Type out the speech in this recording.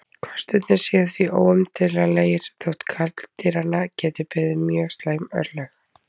Kostirnir séu því óumdeilanlegir þótt karldýranna geti beði slæm örlög.